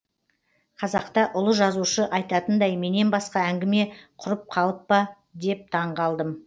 қазақта ұлы жазушы айтатындай менен басқа әңгіме құрып қалып па деп таңғалдым